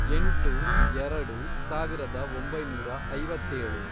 ಎಂಟು, ಎರಡು, ಸಾವಿರದ ಒಂಬೈನೂರ ಐವತ್ತೇಳು